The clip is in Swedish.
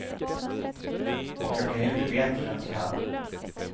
Och jag kan inte bättre än så här.